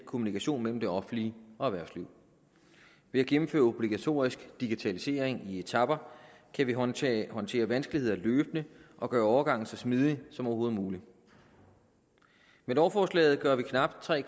kommunikation mellem det offentlige og erhvervslivet ved at gennemføre obligatorisk digitalisering i etaper kan vi håndtere håndtere vanskeligheder løbende og gøre overgangen så smidig som overhovedet muligt med lovforslaget gør vi knap tre